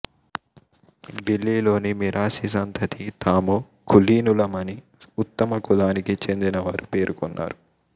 ఢిల్లీలోని మిరాసి సంతతి తాము కులీనులమని ఉత్తమ కులానికి చెందిన వారు పేర్కొన్నారు